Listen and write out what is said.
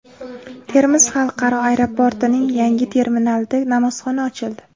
Termiz xalqaro aeroportining yangi terminalida namozxona ochildi .